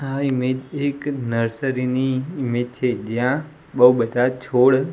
આ ઈમેજ એક નર્સરી ની ઈમેજ છે જ્યાં બો બધા છોડ--